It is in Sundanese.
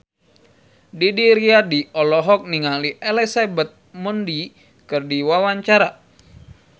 Didi Riyadi olohok ningali Elizabeth Moody keur diwawancara